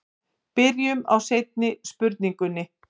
Byrjum á seinni spurningunni.